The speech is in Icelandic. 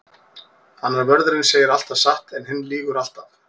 Annar vörðurinn segir alltaf satt en hinn lýgur alltaf.